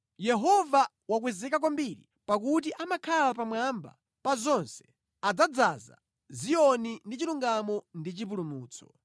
Yehova wakwezeka kwambiri pakuti amakhala pamwamba pa zonse adzadzaza Ziyoni ndi chilungamo ndi chipulumutso.